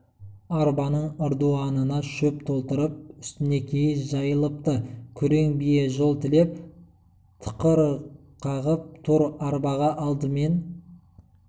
арбаның ырдуанына шөп толтырып үстіне киіз жайылыпты күрең бие жол тілеп тықыр қағып тұр арбаға алдымен